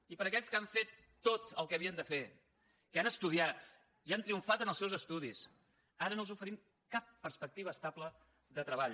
i per a aquells que han fet tot el que havien de fer que han estudiat i han triomfat en els seus estudis ara no els oferim cap perspectiva estable de treball